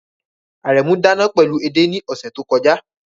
Aremu dana pẹlu ede ni ọsẹ to kọja